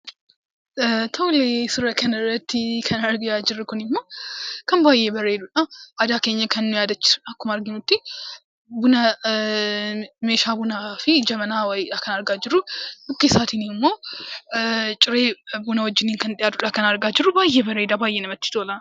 Suuraa kanarratti kan argaa jirru kunimmoo kan baay'ee bareedudha. Aadaa keenya kan nu yaadachiisu akkuma argamutti meeshaa bunaa fi jabanaa wayiidha kan argaa jirru. Bukkee isaatiin immoo ciree buna wajjin kan dhiyatudha kan argaa jirru baay'ee bareedaa baay'ee namatti tola.